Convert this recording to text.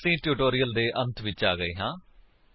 ਹੁਣ ਅਸੀ ਇਸ ਟਿਊਟੋਰਿਅਲ ਦੇ ਅੰਤ ਵਿੱਚ ਆ ਗਏ ਹਾਂ